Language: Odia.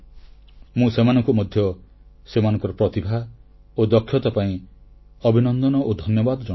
ମୁଁ ସେମାନଙ୍କୁ ମଧ୍ୟ ସେମାନଙ୍କର ପ୍ରତିଭା ଓ ଦକ୍ଷତା ପାଇଁ ଅଭିନନ୍ଦନ ଓ ଧନ୍ୟବାଦ ଜଣାଉଛି